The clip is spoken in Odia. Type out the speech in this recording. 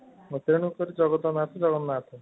ତେଣୁ କରି ଜଗତ ର ନାଥ ଜଗନ୍ନାଥ